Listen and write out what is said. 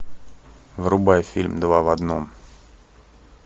врубай фильм два в одном